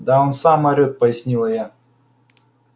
да он сам орет пояснила я